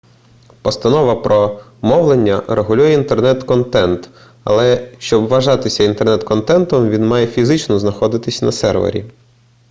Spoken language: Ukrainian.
постанова про мовлення регулює інтернет-контент але щоб вважатися інтернет-контентом він має фізично знаходитися на сервері